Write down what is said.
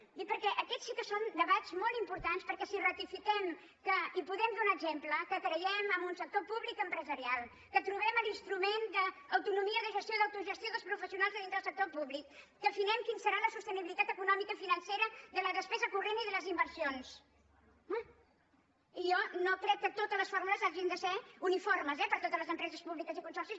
ho dic perquè aquests sí que són debats molt importants perquè si ratifiquem que i en podem donar exemple creiem en un sector públic empresarial que trobem l’instrument d’autonomia de gestió d’autogestió dels professionals de dintre del sector públic que afinem quina serà la sostenibilitat econòmica financera de la despesa corrent i de les inversions home jo no crec que totes les fórmules hagin de ser uniformes eh per a totes les empreses públiques i consorcis